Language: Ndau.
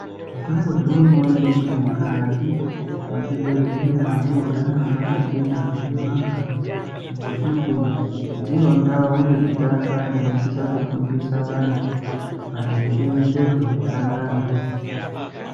Mwakambozvionawo ere kuti mukati muzvibhendleya munogara mwakachena kuti mwakaa ngekuti ndiyo ndau yekutanga inosisa kufundisa antu maringe nezveutsanana.